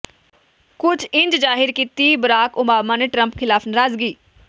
ਕੁਝ ਇੰਝ ਜ਼ਾਹਿਰ ਕੀਤੀ ਬਰਾਕ ਓਬਾਮਾ ਨੇ ਟਰੰਪ ਖਿਲਾਫ ਨਰਾਜ਼ਗੀ